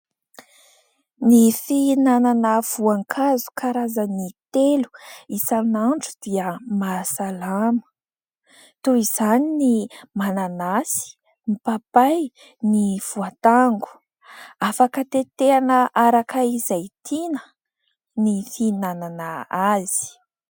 Ny fihinanana voankazo karazany telo isan'andro dia mahasalama. Toy izany ny mananasy, ny papay, ny voatango. Afaka tetehina araka izay tiana ny fihinanana azy.